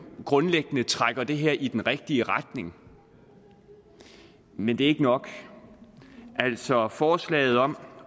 grundlæggende trækker det her i den rigtige retning men det er ikke nok altså forslaget om